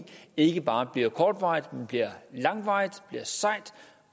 ikke bare bliver kortvarigt men bliver langvarigt